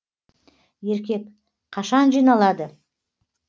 еркек қашан жиналады